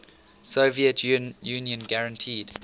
soviet union guaranteed